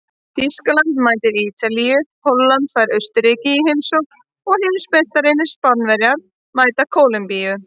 Þýskaland mætir Ítalíu, Holland fær Austurríki í heimsókn og heimsmeistarar Spánverjar mæta Kólumbíu.